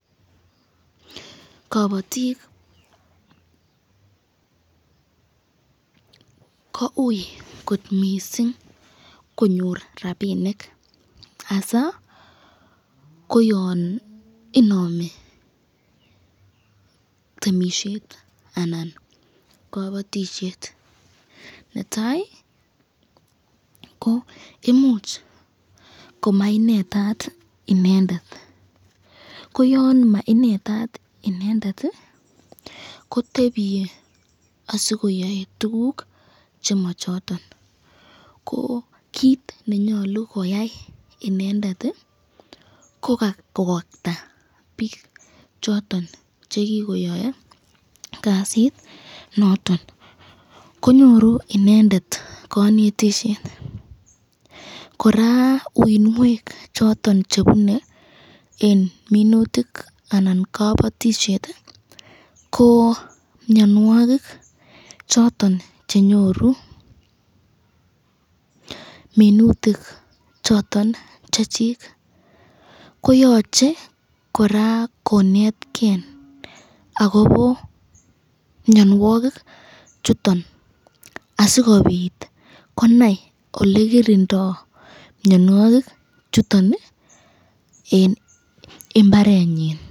Kabatik ko ui kot missing konyor rapinik hasa bko yon inami temisyet anan kabatisyet, netai ko imuch komainetat inendet kotebiye asikoyae tukuk chema choton ,ko kit nenyalu koyai inendet ko kokakta bik choton chekikoyae Kasit noton, konyoru inendet kanetisyet ,koraa uinwek choton chebune eng minutik anan kabatisyet ko mnyanwakik choton cheinyoru minutik choton Chechik, ko yachei koraa koneteken akobo mnyanwakik choton asikobit konai olekirindo mnyanwakik chuton eng imbarenyin.